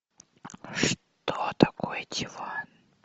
что такое диван